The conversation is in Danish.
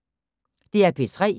DR P3